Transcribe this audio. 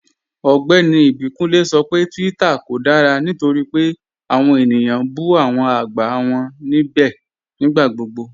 Ọgbẹ́ni Ibikunle sọ pé Twitter kò dára nítorí pé awọn ènìyàn n bú awọn agbá wọn nibẹ̀ nigbàgbọ̀gbọ̀.